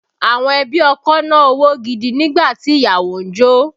Àwọn ẹbí ọkọ na owó gidi nígbà tí ìyàwó ń jó